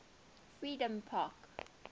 freedompark